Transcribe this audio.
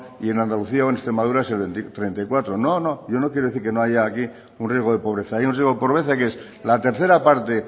y en andalucía o en extremadura es el treinta y cuatro no no yo no quiero decir que haya aquí un riesgo de pobreza hay un riesgo de pobreza que es la tercera parte